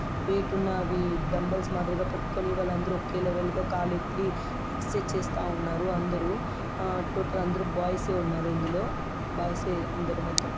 Wait ఉన్న అవి dumbbells మాదిరిగా పట్టుకొని వాళ్ళందరూ ఒకే లెవెల్ గా కాలెత్తి ఎక్సర్సైజ్ చేస్తా ఉన్నారు అందరూ. ఆ టోటల్ అందరూ బాయ్స్ ఏ ఉన్నారు ఇందులో. బాయ్స్ ఏ అందరూ మొత్తం.